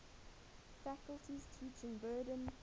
faculty's teaching burden